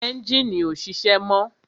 Ẹ́njìnì ọ́ sise mọ́